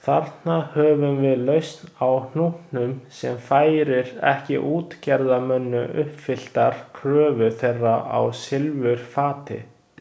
Þarna höfum við lausn á hnútnum sem færir ekki útgerðarmönnum uppfylltar kröfur þeirra á silfurfati.